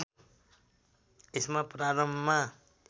यसमा प्रारम्भमा